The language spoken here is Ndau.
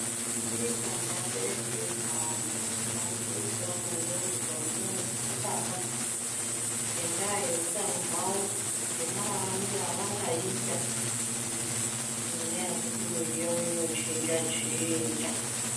Maticha nevabereki vemunharaunda varikudetsera maningi kuvana vechisikana, ngendaa yeutano hwavo, ngemararamire avangaita ngenyaya yekuti mwiri yavo inochinja chinja.